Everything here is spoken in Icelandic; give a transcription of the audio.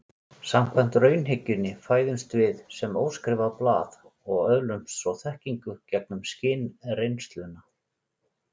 Samkvæmt raunhyggjunni fæðumst við sem óskrifað blað og öðlumst svo þekkingu gegnum skynreynsluna.